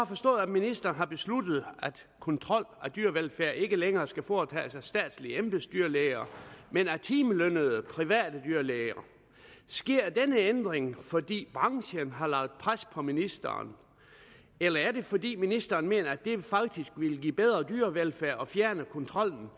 forstået at ministeren har besluttet at kontrol af dyrevelfærd ikke længere skal foretages af statslige embedsdyrlæger men af timelønnede private dyrlæger sker denne ændring fordi branchen har lagt pres på ministeren eller er det fordi ministeren mener at det faktisk vil give bedre dyrevelfærd at fjerne kontrollen